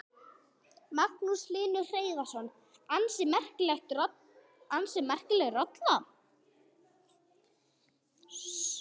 Magnús Hlynur Hreiðarsson: Ansi merkileg rolla?